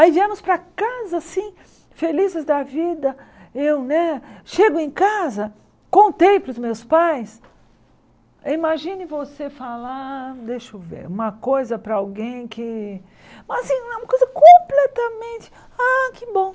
Aí viemos para casa, assim, felizes da vida, eu, né, chego em casa, contei para os meus pais, imagine você falar, deixa eu ver, uma coisa para alguém que, mas assim, uma coisa completamente, ah, que bom.